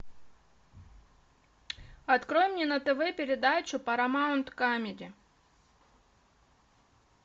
открой мне на тв передачу парамаунт камеди